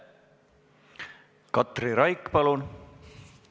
Katri Raik, palun!